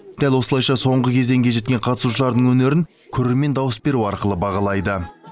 дәл осылайша соңғы кезеңге жеткен қатысушылардың өнерін көрермен дауыс беру арқылы бағалайды